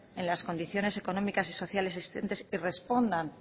en las condiciones económicas y sociales existentes y respondan